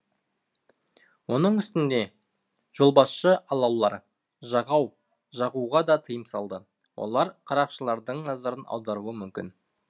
оның үстіне жолбасшы алаулар жағуға да тыйым салды олар қарақшылардың назарын аударуы мүмкін